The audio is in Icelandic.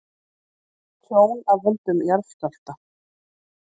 Tjón af völdum jarðskjálfta